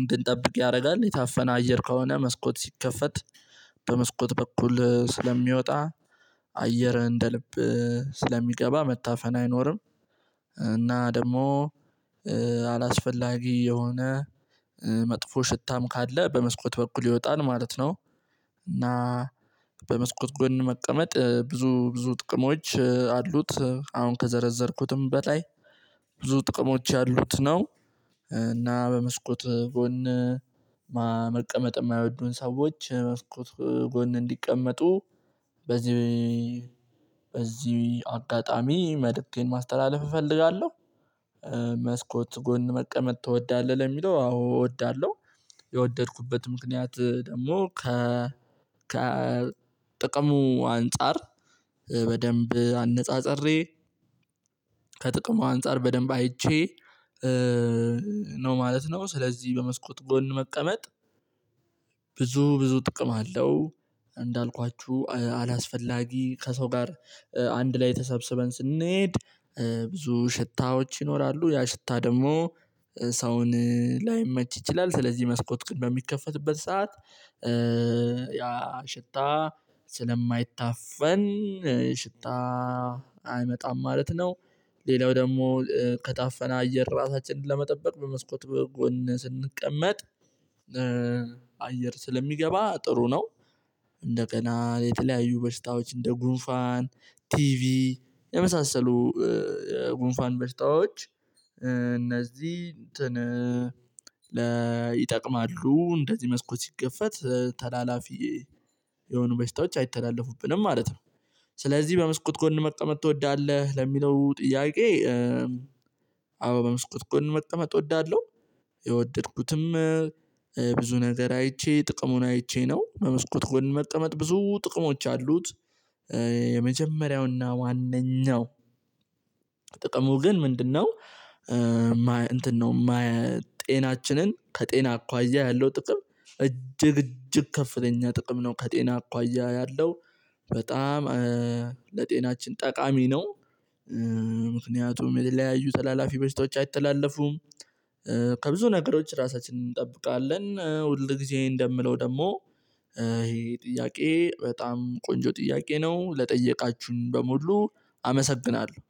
እንድንጠብቅ ያደርጋል የታፈነ አየር ከሆነ መስኮት ሲከፈት በመስኮት በኩል ስለሚወጣ አየር እንደ ልብ ስለሚገባ መታፈን አይኖርም። እና ደግሞ አላስፈላጊ የሆነ መጥፎ ሽታም ካለ በመስኮት በኩል ይወጣል ማለት ነው። እና በመስኮት ጎን መቀመጥ ብዙ ብዙ ጥቅሞች አሉት አሁን ከዘረዘርኩትም በላይ ብዙ ጥቅሞች ያሉት ነው። እና በመስኮት ጎን ማ መቀመጥ የማይወዱን ሰዎች መስኮት ጎን እንዲቀመጡ በዚህ በዚህ አጋጣሚ መልእክቴን ማስተላለፍ እፈልጋለሁ። መስኮት ጎን መቀመጥ ትወዳለህ ለሚለው አዎ እወዳለሁ። የወደድኩበት ምክንያት ደግሞ ከ ከ ጥቅሙ አንፃር በደንብ አነጻጽሬ ከጥቅሙ አንፃር በደንብ አይቼ ነው ማለት ነው። ስለዚህ በመስኮት ጎን መቀመጥ ብዙ ብዙ ጥቅም አለው። እንዳልኳችሁ አላስፈላጊ ከሰው ጋር አንድ ላይ ተሰብስበን ስንሄድ ብዙ ሽታዎች ይኖራሉ ያ ሽታ ደግሞ ሰውን ላይመች ይችላል ስለዚህ መስኮት ግን በሚከፈትበት ሰዓት ያ ሽታ ስለማይታፈን ሽታ አይመጣም ማለት ነው። ሌላው ደግሞ ከታፈና አየር ራሳችንን ለመጠበቅ በመስኮት በጎን ስንቀመጥ አየር ስለሚገባ ጥሩ ነው። እንደገና የተለያዩ በሽታዎች እንደ ጉንፋን ቲቪ የመሳሰሉ ጉንፋን በሽታዎች እነዚህ እንትን ለ ይጠቅማሉ እንደዚህ መስኮት ሲከፈት ተላላፊ የሆኑ በሽታዎች አይተላለፉብንም ማለት ነው። ስለዚህ በመስኮት ጎን መቀመጥ ትወዳለህ ለሚለው ጥያቄ። አዎ መስኮት ጎን መቀመጥ እወዳለሁ። የወደድኩትም ብዙ ነገር አይቼ ጥቅሙን አይቼ ነው በመስኮት ጎን መቀመጥ ብዙ ጥቅሞች አሉት። የመጀመሪያውና ዋነኛው ጥቅሙ ግን ምንድነው? እንትን ነው ጤናችንን ከጤና አኳያ ያለው ጥቅም እጅግ እጅግ ከፍተኛ ጥቅም ነው። ከጤና አኳያ ያለው በጣም ለጤናችን ጠቃሚ ነው። ምክንያቱም የተለያዩ ተላላፊ በሽታዎች አይተላለፉም። ከብዙ ነገሮች ራሳችንን እንጠብቃለን ሁልጊዜ እንደምለው ደግሞ ይሄ ጥያቄ በጣም ቆንጆ ጥያቄ ነው ለጠየቃችሁኝ በሙሉ። አመሰግናለሁ